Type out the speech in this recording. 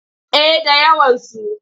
Eh da yawansu.